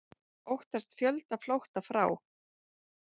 Óttast fjöldaflótta frá